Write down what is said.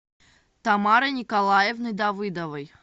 тамарой николаевной давыдовой